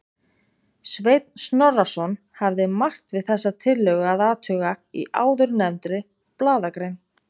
Sveinn Snorrason hafði margt við þessa tillögu að athuga í áðurnefndri blaðagrein.